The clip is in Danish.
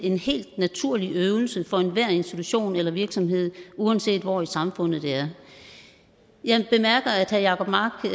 en helt naturlig øvelse for enhver institution eller virksomhed uanset hvor i samfundet det er jeg bemærker at herre jacob mark